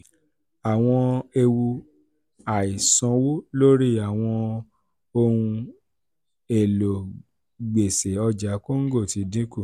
àwọn ewu àìsanwó lórí àwọn ohun èlò gbèsè ọjà congo ti dín kù.